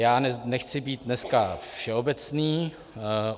Já nechci být dneska všeobecný.